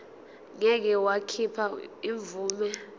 ngeke wakhipha imvume